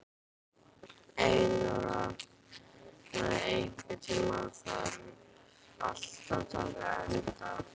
Elinóra, einhvern tímann þarf allt að taka enda.